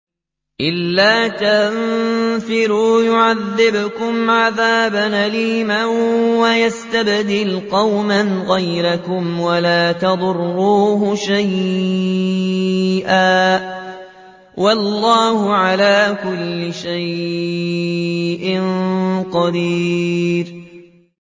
إِلَّا تَنفِرُوا يُعَذِّبْكُمْ عَذَابًا أَلِيمًا وَيَسْتَبْدِلْ قَوْمًا غَيْرَكُمْ وَلَا تَضُرُّوهُ شَيْئًا ۗ وَاللَّهُ عَلَىٰ كُلِّ شَيْءٍ قَدِيرٌ